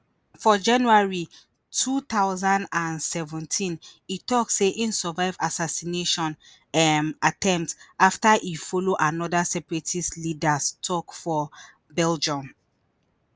for january two thousand and seventeen hin tok say im survive assassination um attempt afta hin follow anoda separatist leaders tok for belgium